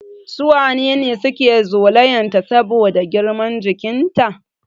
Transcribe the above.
Su waye ne suke zolayan ta saboda girman jikin ta?